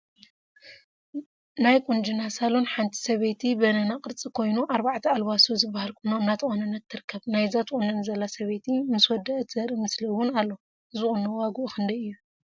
ናይ ቁንጅና ሳሎን ሓንቲ ሰበይቲ በነና ቅርፂ ኮይኑ አርባዕተ አልባሶ ዝበሃል ቁኖ እናተቆነነት ትርከብ፡፡ ናይዛ ትቁነን ዘላ ሰበይቲ ምስ ወደአት ዘርኢ ምስሊ እውን አሎ፡፡ እዚ ቁኖ ዋግኡ ክንደይ እዩ?